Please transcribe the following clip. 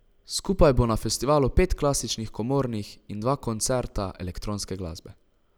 Skupaj bo na festivalu pet klasičnih komornih in dva koncerta elektronske glasbe.